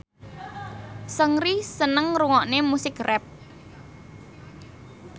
Seungri seneng ngrungokne musik rap